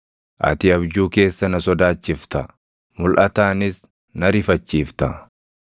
ati abjuu keessa na sodaachifta; mulʼataanis na rifachiifta.